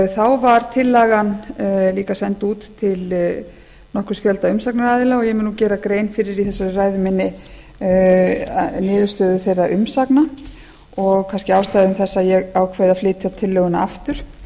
þá var tillagan líka send út til nokkurs fjölda umsagnaraðila og ég mun nú gera grein fyrir í þessari ræðu minni niðurstöðum þeirra umsagna og kannski ástæða þess að ég ákveð að flytja tillöguna aftur